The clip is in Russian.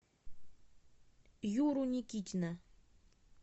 юру никитина